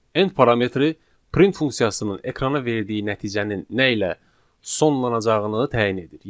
End parametri print funksiyasının ekrana verdiyi nəticənin nə ilə sonlanacağını təyin edir.